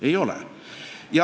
– ei ole.